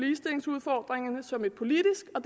ligestillingsudfordringerne som et politisk og